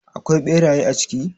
Akwai beraye a ciki?